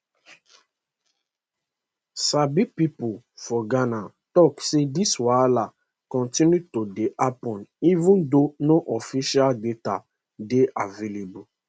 sabi pipo for ghana tok say dis wahala continue to dey happun even though no official data dey available